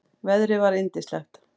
Veðrið var yndislegt.